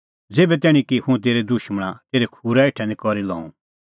ज़ेभै तैणीं कि हुंह तेरै दुशमणा तेरै खूरा हेठै निं करी लऊं